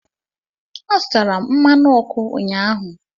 Azụtara m mmanụ ọkụ ụnyahụ.